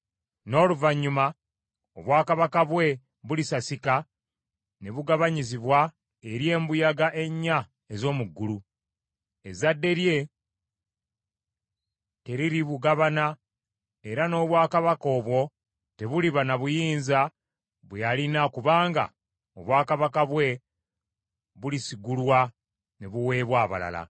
N’oluvannyuma obwakabaka bwe bulisasika ne bugabanyizibwa eri embuyaga ennya ez’omu ggulu. Ezzadde lye teriribugabana, era n’obwakabaka obwo tebuliba na buyinza bwe yalina kubanga obwakabaka bwe bulisigulwa ne buweebwa abalala.